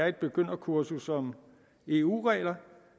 et begynderkursus om eu regler